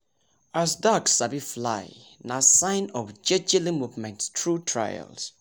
as duck sabi fly nah sign of jejeli movement tru trials